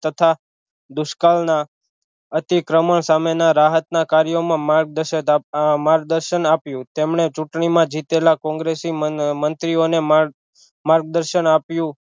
તથા દુષ્કાળ ના અતિક્રમ સામે ના રાહત ના કાર્યો માં માર્ગદશન આપ્યું તેમણે ચુંટણી માં જીતેલા કોંગ્રેસી મન મંત્રીઓને માર્ગદશન આપ્યું